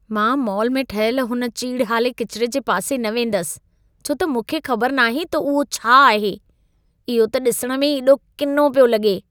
मां मॉल में ठहियल हुन चीड़हाले किचिरे जे पासे न वेंदसि, छो त मूंखे ख़बरु नाहे त उहो छा आहे। इहो त ॾिसण में ई एॾो किनो पियो लॻो।